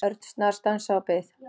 Örn snarstansaði og beið.